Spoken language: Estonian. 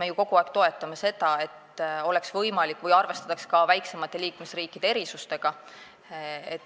me ju kogu aeg toetame seda, et arvestataks ka väiksemate liikmesriikide erisustega.